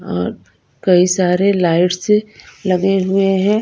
और कई सारे लाइट्स लगे हुए हैं।